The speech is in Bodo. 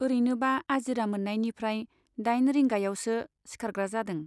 औरैनोबा आजिरा मोन्नायनिफ्राइ दाइन रिंगायावसो सिखारग्रा जादों।